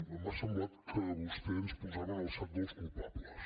m’ha semblat que vostè ens posava en el sac dels culpables